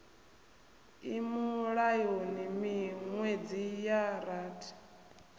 i mulayoni miṅwedzi ya rathi